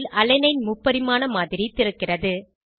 திரையில் அலனைன் முப்பரிமாண மாதிரி திறக்கிறது